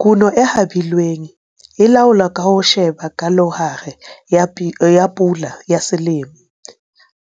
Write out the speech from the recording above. Kuno e habilweng e laolwa ka ho sheba palohare ya pula ya selemo,